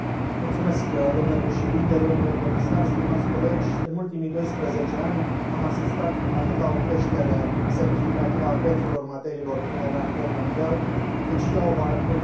În ultimii doisprezece ani am asistat atât la o creștere semnificativă a prețurilor materiilor prime la nivel mondial, cât și la o volatilitate îngrijorătoare a acestora.